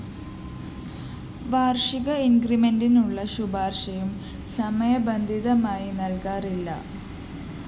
വാര്‍ഷിക ഇന്‍ക്രിമെന്റിനുള്ള ശുപാര്‍ശയും സമയബന്ധിതമായി നല്‍കാറില്ല